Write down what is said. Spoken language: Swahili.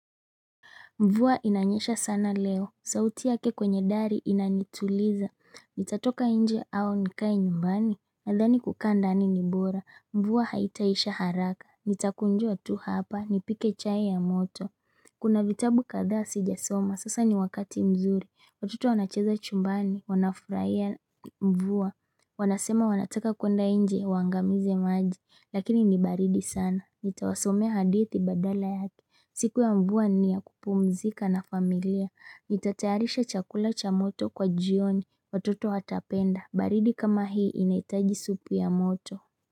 Mvua inanyesha sana leo. Sauti yake kwenye dari inanituliza. Nitatoka nje au nikae nyumbani. Nadhani kukaa ndani ni bora. Mvua haitaisha haraka. Nitakunjua tu hapa. Nipike chai ya moto. Kuna vitabu kathaa sijasoma. Sasa ni wakati mzuri. Watoto wanacheza chumbani. Wanafurahia mvua. Wanasema wanataka kuenda nje. Waangamize maji. Lakini ni baridi sana. Nitawasomea hadithi badala yake. Siku ya mvua ni ya kupumzika na familia, nitatayarisha chakula cha moto kwa jioni, watoto watapenda, baridi kama hii inahitaji supu ya moto.